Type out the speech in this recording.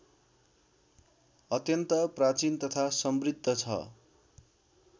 अत्यन्त प्राचीन तथा समृद्ध छ